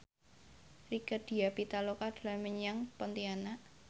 Rieke Diah Pitaloka dolan menyang Pontianak